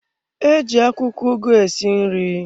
Eji akwụkwọ ugu esi nri.